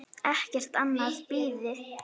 Ekkert annað bíði.